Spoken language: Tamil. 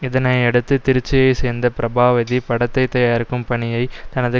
இதனையடுத்து திருச்சியை சேர்ந்த பிரபாவதி படத்தை தயாரிக்கும் பணியை தனது